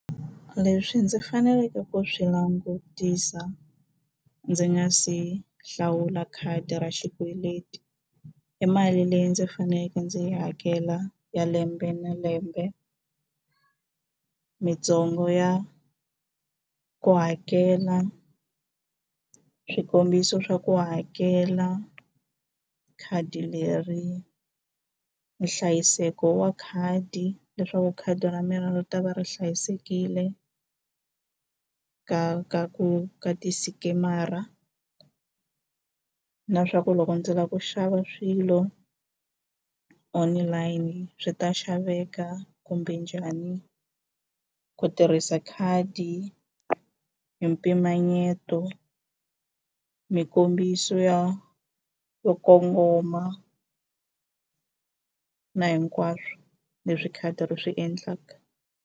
Leswi ndzi faneleke ku swi langutisa ndzi nga se hlawula khadi ra xikweleti i mali leyi ndzi faneleke ndzi yi hakela ya lembe na lembe ya ku hakela swikombiso swa ku hakela khadi leri nhlayiseko wa khadi leswaku khadi ra mina ri ta va ri hlayisekile ka ka ku ka ti-scammer-a na swa ku loko ndzi lava ku xava swilo online swi ta xaveka kumbe njhani ku tirhisa khadi hi mpimanyeto mikombiso yo yo kongoma na hinkwaswo leswi khadi ri swi endlaka.